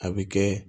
A bɛ kɛ